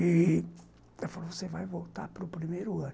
E ela falou, você vai voltar para o primeiro ano.